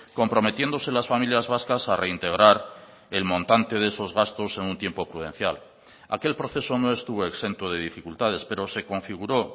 comprometiéndose las familias vascas a reintegrar el montante de esos gastos en un tiempo prudencial aquel proceso no estuvo exento de dificultades pero se configuró